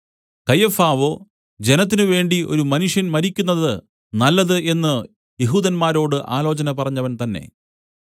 കയ്യഫാവോ ജനത്തിനുവേണ്ടി ഒരു മനുഷ്യൻ മരിക്കുന്നതു നല്ലത് എന്നു യെഹൂദന്മാരോട് ആലോചന പറഞ്ഞവൻ തന്നേ